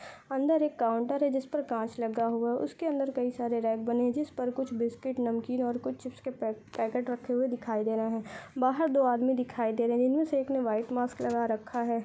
अंदर एक काउंटर है जिस पर काँच लगा हुआ है। उसके अंदर कई सारे रैक बने है जिस पर कुछ बिस्किट नमकीन और कुछ चिप्स के पै पैकेट रखे हुए दिखाई दे रहे हैं। बाहर दो आदमी दिखाई दे रहे हैं जिनमे से एक ने वाइट मास्क लगा रखा है।